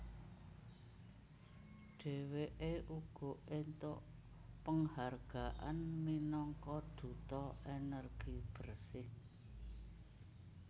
Dheweke uga entuk penghargaan minangka Duta Energi Bersih